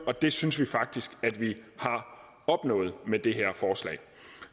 og det synes vi faktisk at vi har opnået med det her forslag